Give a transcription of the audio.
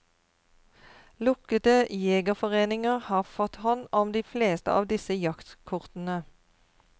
Lukkede jegerforeninger har fått hånd om de fleste av disse jaktkortene.